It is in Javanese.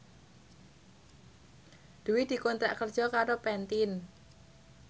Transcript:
Dwi dikontrak kerja karo Pantene